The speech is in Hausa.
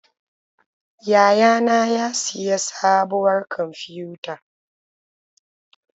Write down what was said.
Yayana ya siya sabuwar kwamfiyuta.